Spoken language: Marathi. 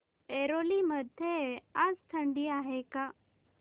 ऐरोली मध्ये आज थंडी आहे का